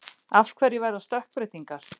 Af hverju verða stökkbreytingar?